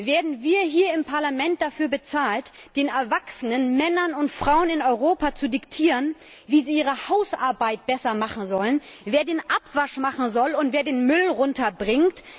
Werden wir hier im Parlament dafür bezahlt, den erwachsenen Männern und Frauen in Europa zu diktieren, wie sie ihre Hausarbeit besser machen sollen, wer den Abwasch machen soll und wer den Müll runterbringt?